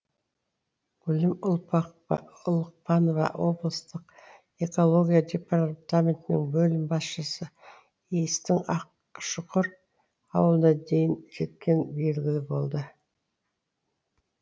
гүлім ұлықпанова облыстық экология департаментінің бөлім басшысы иістің ақшұқыр ауылына дейін жеткені белгілі болды